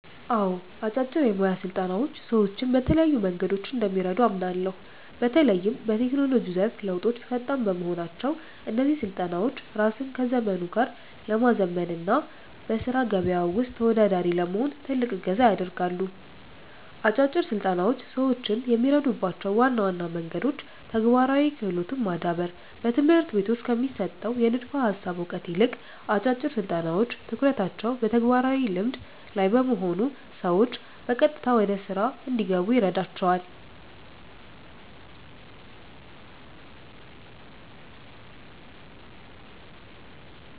አዎ፣ አጫጭር የሞያ ስልጠናዎች ሰዎችን በተለያዩ መንገዶች እንደሚረዱ አምናለሁ። በተለይም በቴክኖሎጂው ዘርፍ ለውጦች ፈጣን በመሆናቸው፣ እነዚህ ስልጠናዎች ራስን ከዘመኑ ጋር ለማዘመን እና በሥራ ገበያው ውስጥ ተወዳዳሪ ለመሆን ትልቅ እገዛ ያደርጋሉ። አጫጭር ስልጠናዎች ሰዎችን የሚረዱባቸው ዋና ዋና መንገዶች ተግባራዊ ክህሎትን ማዳበር፦ በትምህርት ቤቶች ከሚሰጠው የንድፈ ሃሳብ እውቀት ይልቅ፣ አጫጭር ስልጠናዎች ትኩረታቸው በተግባራዊ ልምድ (Practical Skill) ላይ በመሆኑ ሰዎች በቀጥታ ወደ ሥራ እንዲገቡ ይረዳቸዋል።